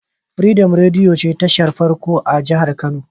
Freedom rediyo ce tashar farko a jahar kano